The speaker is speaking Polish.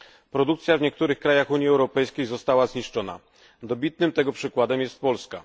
Produkcja w niektórych państwach Unii Europejskiej została zniszczona, a dobitnym tego przykładem jest Polska.